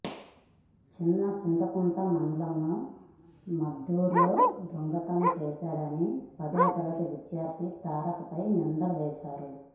చిన్నచింతకుంట మండలం మద్దూరులో దొంగతనం చేశాడని పదో తరగతి విద్యార్ధి తారక్ పై నిందలు వేశారు